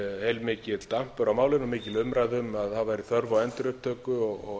heilmikill dampur á málinu mikil umræða um að það væri þörf á endurupptöku og